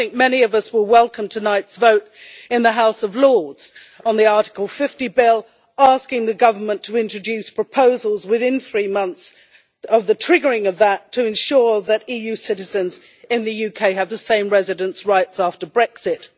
I think many of us will welcome tonight's vote in the House of Lords on the Article 50 bill, asking the government to introduce proposals within three months of the triggering of that Article, to ensure that EU citizens in the UK have the same residence rights after Brexit.